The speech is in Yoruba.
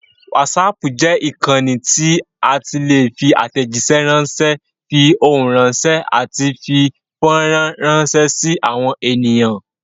Wásaapù jẹ́ ìkànnì tí a ti lè fi àtẹ̀jíṣẹ́ ránṣé, fi ohùn ránṣẹ́, àti fi fọ́rán rànṣẹ́ sí àwọn èèyàn.